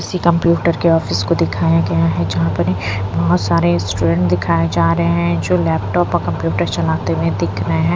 इसी कंप्यूटर के ऑफिस को दिखाया गया है जहाँ पर बहुत सारे स्टूडेंट दिखाए जा रहे हैं जो लैपटॉप और कंप्यूटर चलाते हुए दिख रहे हैं।